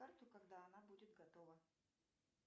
карту когда она будет готова